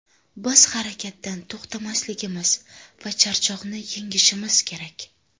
Biz harakatdan to‘xtamasligimiz va charchoqni yengishimiz kerak.